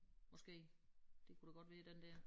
Måske det kunne det godt være den der